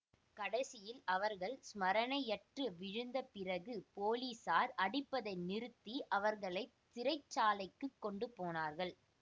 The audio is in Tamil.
கடைசியில் அவர்கள் ஸ்மரணையற்று விழுந்த பிறகு போலீஸார் அடிப்பதை நிறுத்தி அவர்களை சிறைச்சாலைக்குக் கொண்டு போனார்கள்